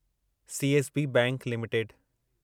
CSB bank limited